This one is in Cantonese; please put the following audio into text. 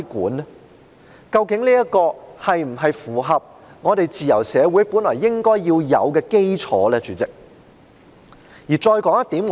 主席，究竟這是否符合自由社會本來應該要有的基礎呢？